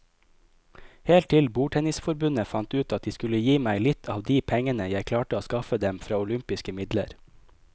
Helt til bordtennisforbundet fant ut at de skulle gi meg litt av de pengene jeg klarte å skaffe dem fra olympiske midler.